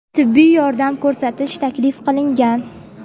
tibbiy yordam ko‘rsatish taklif qilingan.